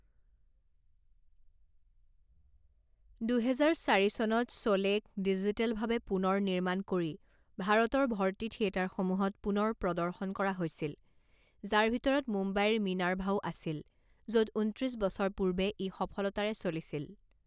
দুহেজাৰ চাৰি চনত শ্বোলেক ডিজিটেলভাৱে পুনৰ নিৰ্মাণ কৰি ভাৰতৰ ভৰ্তি থিয়েটাৰসমূহত পুনৰ প্ৰদৰ্শন কৰা হৈছিল যাৰ ভিতৰত মুম্বাইৰ মিনাৰ্ভাও আছিল য'ত ঊনত্ৰিছ বছৰ পূৰ্বে ই সফলতাৰে চলিছিল।